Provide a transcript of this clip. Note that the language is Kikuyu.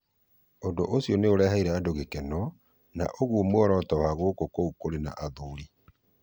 Ũndũ ũcio nĩ ũreheire andũ gĩkeno, na nĩguo muoroto wa gĩkũ kiũ kuri na athuri.